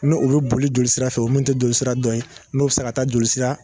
N'o o bi boli joli sira fɛ, o mun te jolisira dɔ, n'o bi se ka taa jolisira